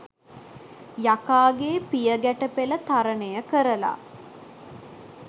යකාගේ පියගැටපෙල තරණය කරලා